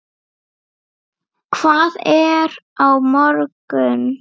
Hvað er á morgun?